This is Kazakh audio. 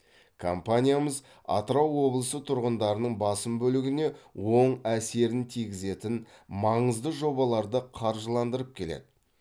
компаниямыз атырау облысы тұрғындарының басым бөлігіне оң әсерін тигізетін маңызды жобаларды қаржыландырып келеді